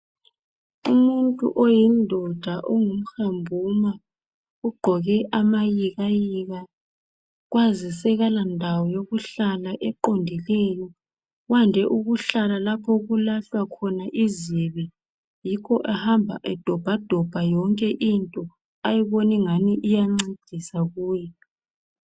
Umuntu oyindoda ongumhambuma ugqoke amayikayika kwazise kalandawo yokuhlala eqondileyo wande ukuhlala lapho okulahlwa khona izibi yikho ehamba edobha dobha yonke into ayibona ngani iyancedisa kuye.